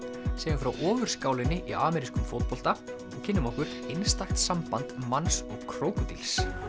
segjum frá í amerískum fótbolta og kynnum okkur einstakt samband manns og krókódíls